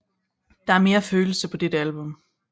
Der er mere følelse på dette album